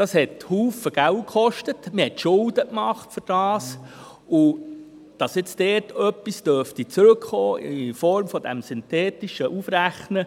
Dies kostete sehr viel Geld, man machte Schulden dafür, und dass nun dort etwas in Form des synthetischen Aufrechnens